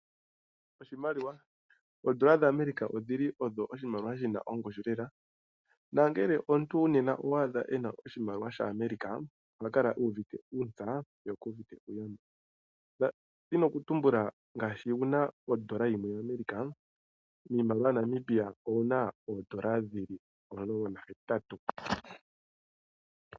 Oshimaliwa! Oondola dhaAmerica odhili odho oshimaliwa shi na ongushu lela nongele omuntu nena owaadha ena oshimaliwa shaAmerica oha kala uuvite uutsa ye okuuvite uugumbo. Ndadhini okutumbula ngaashi wuna ondola yimwe ya America miimaliwa yaNamibia owuna oondolo 18